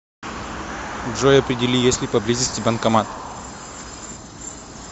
джой определи есть ли поблизости банкомат